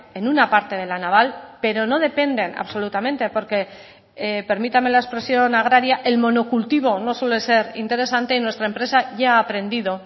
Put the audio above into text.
en una parte de la naval pero no dependen absolutamente porque permítame la expresión agraria el monocultivo no suele ser interesante y nuestra empresa ya ha aprendido